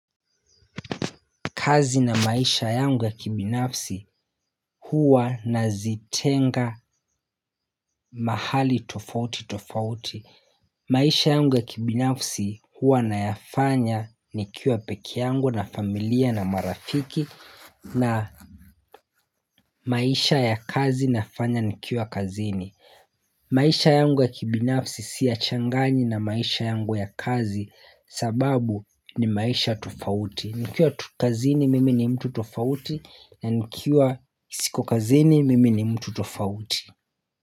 Kazi na maisha yangu ya kibinafsi huwa nazitenga mahali tofauti tofauti. Maisha yangu ya kibinafsi huwa nayafanya nikiwa pekee yangu na familia na marafiki na maisha ya kazi nafanya nikiwa kazini. Maisha yangu ya kibinafsi siyachangani na maisha yangu ya kazi sababu ni maisha tofauti. Nikiwa tu kazini mimi ni mtu tofauti na nikiwa siko kazini mimi ni mtu tofauti.